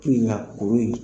Ko in na kuru in